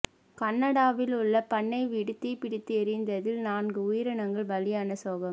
கனடாவில் உள்ள பண்ணை வீடு தீப்பிடித்து எரிந்ததில் நான்கு உயிரினங்கள் பலியான சோகம்